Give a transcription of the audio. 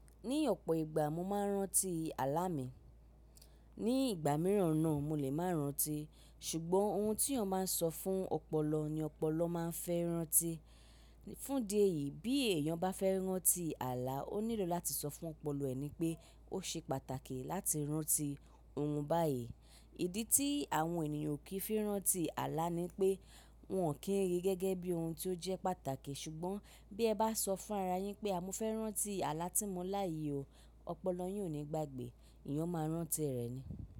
Ní ọ̀pọ̀ ìgbà mo máa ń rántí àlá mi. Ní ìgbà mìíràn náà mo lè máa rántí. Ṣùgbọ́n ohun tí èèyàn máa ń sọ fún ọpọlọ ni ọpọlọ máa ń fẹ́ rántí. Fún di èyí bí èèyàn bá fẹ́ rántí àlá ó nílò láti sọ fún ọpọlọ ẹ̀ ni pé ó ṣe pàtàkì láti rántí ohun báyìí. Ìdí tí àwọn ènìyàn ò kí fi rántí àlá ni pé wọ́n ò kí rí gẹ́gẹ́ bí ohun tí ó jẹ́ pàtàkì. Ṣùgbọ́n bí ẹ bá sọ fún ara yín pé à mo fẹ́ rántí àlá tí mo láàyi o, ọpọlọ yín ò ní gbàgbé. Íyàn máa rántí rẹ̀ ni.